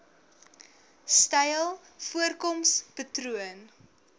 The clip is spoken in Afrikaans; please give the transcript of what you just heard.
styl voorkoms patroon